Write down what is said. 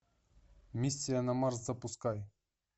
миссия на марс запускай